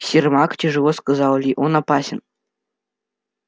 сермак тяжело сказал ли он опасен